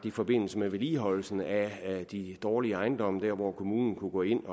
i forbindelse med vedligeholdelsen af de dårlige ejendomme dér hvor kommunen kunne gå ind